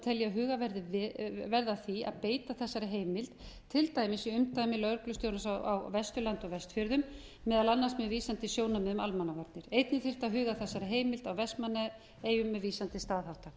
tel ég að huga verði að því að beita þessari heimild til dæmis í umdæmi lögreglustjórans á vesturlandi og vestfjörðum meðal annars með vísan til sjónarmiða um almannavarnir einnig þyrfti að huga að þessari heimild í vestmannaeyjum með vísað til staðhátta